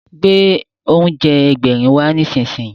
Gbé oúnjẹ Ẹgbẹ̀rin wá nísinsìnyí!